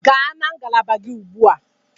Gaa na ngalaba gị ugbu a.